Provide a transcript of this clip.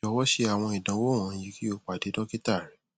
jọwọ ṣe awọn idanwo wọnyi ki o pade dokita rẹ